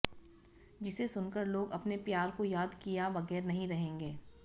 जिसे सुनकर लोग अपने प्यार को याद किया बगैर नहीं रहेंगे